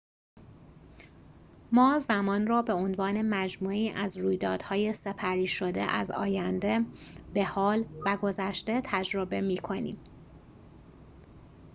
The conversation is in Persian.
ما زمان را به عنوان مجموعه‌ای از رویدادهای سپری شده از آینده به حال و گذشته تجربه می‌کنیم